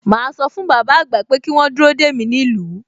Màá sọ fún bàbá àgbà pé kí wọ́n dúró dè mí nílùú